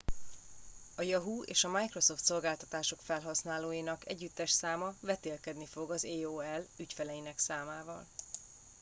a yahoo és a microsoft szolgáltatások felhasználóinak együttes száma vetélkedni fog az aol ügyfeleinek számával